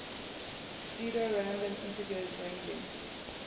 pseudo random integers ranging